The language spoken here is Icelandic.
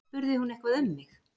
Spurði hún eitthvað um mig?